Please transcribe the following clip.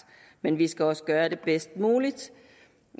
men vi skal også gøre det bedst muligt